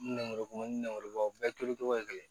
Nɛnbɔ ni nɛnkɔrɔbaw bɛɛ turucogo ye kelen ye